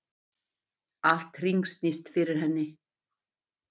Allt hringsnýst fyrir henni.